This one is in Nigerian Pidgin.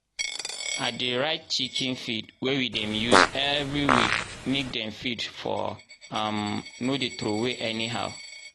i dey write chicken feed wey we dem use everi week make feed for um no dey throway anyhow.